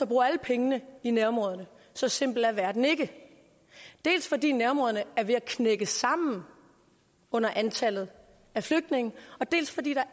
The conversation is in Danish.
at bruge alle pengene i nærområderne så simpel er verden ikke dels fordi nærområderne er ved at knække sammen under antallet af flygtninge dels fordi der